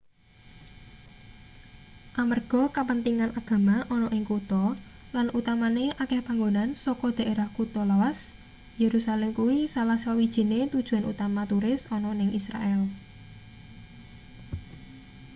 amarga kapentingan agama ana ning kutha lan utamane akeh panggonan saka daerah kutha lawas yerusalem kuwi salah sawijine tujuan utama turis ana ning israel